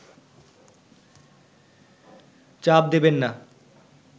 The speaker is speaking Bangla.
চাপ দেবেন না